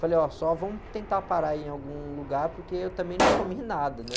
Falei, ó, só vamos tentar parar em algum lugar porque eu também não comi nada, né?